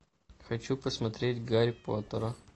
хочу посмотреть гарри поттера